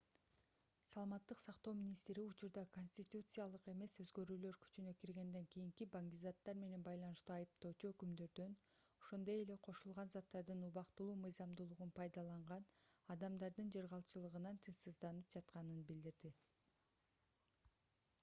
саламаттык сактоо министри учурда конституциялык эмес өзгөрүүлөр күчүнө киргенден кийинки баңгизаттар менен байланыштуу айыптоочу өкүмдөрдөн ошондой эле кошулган заттардын убактылуу мыйзамдуулугун пайдаланган адамдардын жыргалчылыгынан тынчсызданып жатканын билдирди